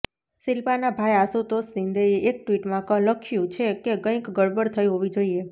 શિલ્પાનાં ભાઈ આશુતોષ શિંદેએ એક ટ્વીટમાં લખ્યું છે કે કંઈક ગડબડ થઈ હોવી જોઈએ